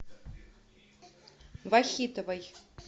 вахитовой